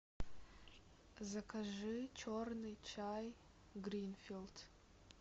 закажи черный чай гринфилд